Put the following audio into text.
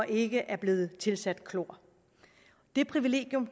ikke er blevet tilsat klor det privilegium